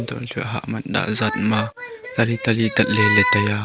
hah ma da zah ma tali tali datley tai a.